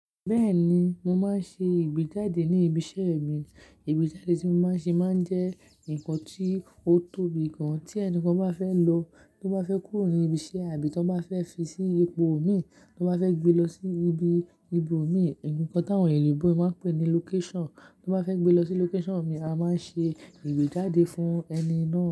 Bẹ́ẹ̀ni, mo máa ń ṣe ìgbéjáde ní ibi iṣẹ́ mi. Ìgbéjáde tí mo máa ń ṣe máa ń jẹ́ nǹkan tí ó tóbi gan tí ẹni kan bá fẹ́ lọ, tó bá fẹ́ kúrò ní ibi iṣẹ́ àbí tan bá fẹ́ fi sí ipò mi, tó bá fẹ́ gbe lọ sí ibi ibo mi, ǹkan tí àwọn ènìyàn oyinbo máa ń pè ní location, tó bá fẹ́ gbe lọ sí location mi, a máa n ṣe ìgbéjáde fún ẹni náà.